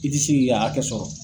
I ti si k'i ka hakɛ sɔrɔ.